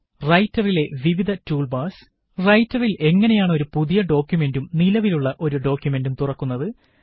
റൈറ്ററിലെ വിവിധ tool bars 001045 001044 റൈറ്ററില് എങ്ങനെയാണ് ഒരു പുതിയ ഡോക്കുമന്റും നിലവിലുള്ള ഒരു ഡോക്കുമന്റും തുറക്കുന്നത്